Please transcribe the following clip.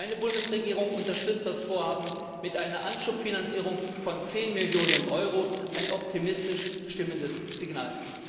Meine Bundesregierung unterstützt das Vorhaben mit einer Anschubfinanzierung von zehn Millionen Euro, ein optimistisch stimmendes Signal!